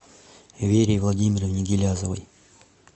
вере владимировне гилязовой